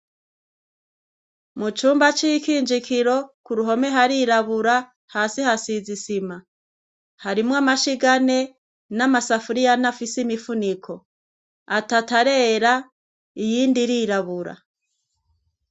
Mucumba c'ikinjikiro k'uruhome harirabura, hasi hasiz'isima. Harimwo amashig'ane n'amasafuriy'ane afise imifuniko, atat'arera iyindi irirabura.